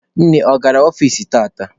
Nne, ọ gara ọfici tata?